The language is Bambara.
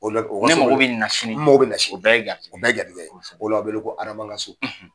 ne mago bɛ nin na sini, n mago bɛ nin na sini, o bɛɛ ye gɛrijɛgɛ ye, o la, o bɛ wele, ko hadama ka so.